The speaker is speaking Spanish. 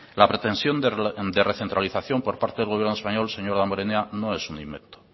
la pretensión de recentralización por parte del gobierno español señor damborenea no es un invento